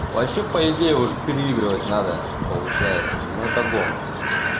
вообще по идее уже переигрывать надо получается но это гон